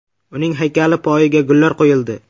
Uning haykali poyiga gullar qo‘yildi.